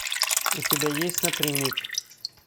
у тебя есть напрямик